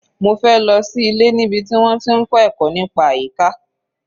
Mofe lọ sí ilé níbi tí wọ́n ti ń kọ́ ẹ̀kọ́ nípa àyíká.